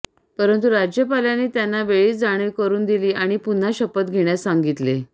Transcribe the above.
परंतु राज्यपालांनी त्यांना वेळीच जाणीव करु दिली आणि पुन्हा शपथ घेण्यास सांगितले